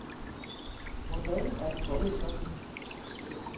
Hvordan er det kommet så vidt?